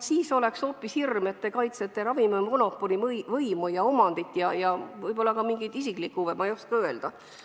Siis oleks hoopis hirm, et te kaitsete ravimimüüjate monopoli, võimu ja omandit ning võib-olla ka midagi isiklikku, ma ei oska öelda.